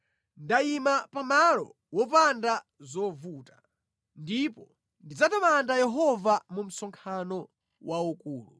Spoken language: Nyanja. Ndayima pa malo wopanda zovuta ndipo ndidzatamanda Yehova mu msonkhano waukulu.